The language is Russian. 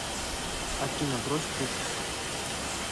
афина брось трубку